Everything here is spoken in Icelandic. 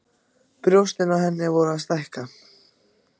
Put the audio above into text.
Brjóstin á henni voru að stækka.